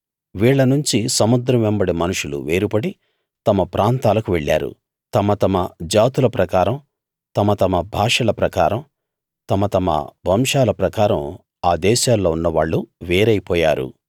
వీళ్ళనుంచి సముద్రం వెంబడి మనుషులు వేరుపడి తమ ప్రాంతాలకు వెళ్ళారు తమ తమ జాతుల ప్రకారం తమ తమ భాషల ప్రకారం తమ తమ వంశాల ప్రకారం ఆ దేశాల్లో ఉన్నవాళ్ళు వేరైపోయారు